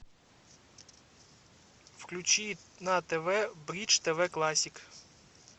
включи на тв бридж тв классик